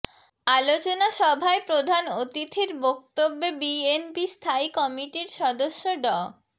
আলোচনা সভায় প্রধান অতিথির বক্তব্যে বিএনপি স্থায়ী কমিটির সদস্য ড